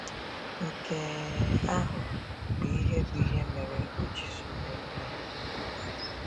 “Nke ahụ bụ ihe bụ ihe mere o ji zụ ndị mmehie n’ụzọ.”